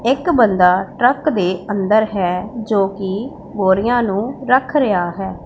ਇੱਕ ਬੰਦਾ ਟਰੱਕ ਦੇ ਅੰਦਰ ਹੈ ਜੋ ਕਿ ਬੋਰੀਆਂ ਨੂੰ ਰੱਖ ਰਿਹਾ ਹੈ।